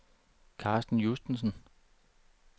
Carsten Justesen